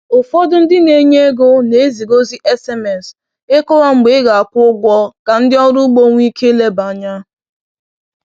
Ụfọdụ ndị na-enye ego na-eziga ozi SMS ịkọwa mgbe ị ga-akwụ ụgwọ ka ndị ọrụ ugbo nwee ike ileba anya.